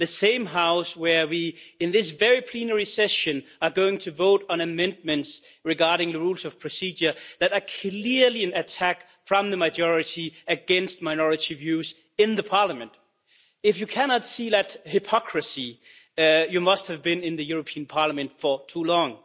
The same House where we, in this very plenary session, are going to vote on amendments regarding the Rules of Procedure that are clearly an attack by the majority against minority views in Parliament. If you cannot see that hypocrisy you must have been in the European Parliament for too long.